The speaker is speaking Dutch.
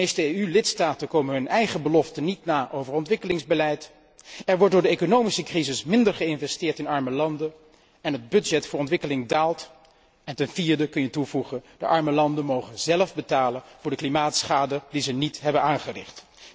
De meeste EU lidstaten komen hun eigen beloften over ontwikkelingsbeleid niet na, er wordt door de economische crisis minder geïnvesteerd in arme landen en het budget voor ontwikkeling daalt. Ten vierde kan je toevoegen dat de arme landen zelf moeten betalen voor de klimaatschade die ze niet hebben aangericht.